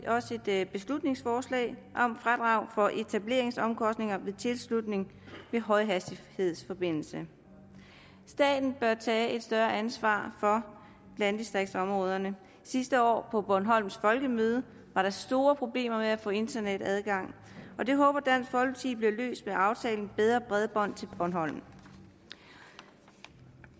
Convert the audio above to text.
også et beslutningsforslag om fradrag for etableringsomkostninger ved tilslutning til højhastighedsforbindelse staten bør tage et større ansvar for landdistriktsområderne sidste år på bornholms folkemøde var der store problemer med at få internetadgang og det håber dansk folkeparti bliver løst med aftalen om bedre bredbånd til bornholm vi